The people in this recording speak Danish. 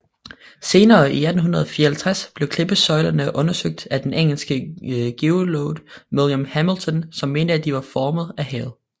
Senere i 1854 blev klippesøjlerne undersøgt af den engelske geolog William Hamilton som mente at de var formet af havet